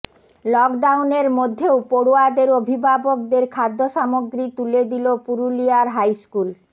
লকডাউনের মধ্যেও পড়ুয়াদের অভিভাবকদের খাদ্যসামগ্রী তুলে দিল পুরুলিয়ার হাইস্কুল